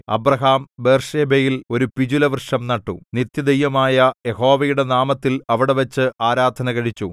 Abraham ബേർശേബയിൽ ഒരു പിചുലവൃക്ഷം നട്ടു നിത്യദൈവമായ യഹോവയുടെ നാമത്തിൽ അവിടെവച്ച് ആരാധന കഴിച്ചു